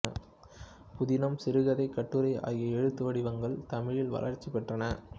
புதினம் சிறுகதை கட்டுரை ஆகிய எழுத்து வடிவங்கள் தமிழில் வளர்ச்சி பெற்றன